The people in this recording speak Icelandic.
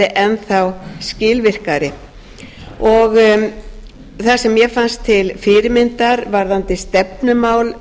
enn þá skilvirkari það sem mér fannst til fyrirmyndar varðandi stefnumál